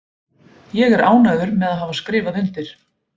Ég er ánægður með að hafa skrifað undir.